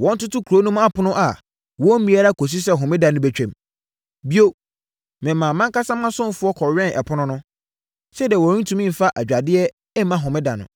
wɔntoto kuro no apono mu a wɔmmue ara kɔsi sɛ Homeda no bɛtwam. Bio, memaa mʼankasa mʼasomfoɔ kɔwɛnn apono no, sɛdeɛ wɔrentumi mfa adwadeɛ mma homeda no.